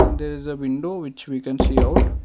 and there is a window which we can see out.